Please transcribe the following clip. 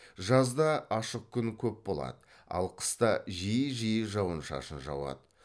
жазда ашық күн көп болады ал қыста жиі жиі жауын шашын жауады